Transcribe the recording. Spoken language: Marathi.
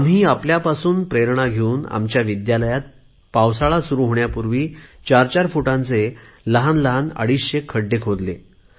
आम्ही आपल्यापासून प्रेरणा घेऊन आमच्या विद्यालयात पावसाळा सुरु होण्यांपूर्वी चार फूटाचे लहान लहान अडिचशे खड्डे खोदले